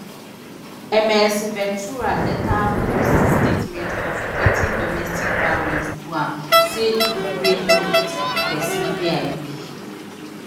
ms ventura later post statement of wetin domestic violence do am say "e break me to pesin wey i bin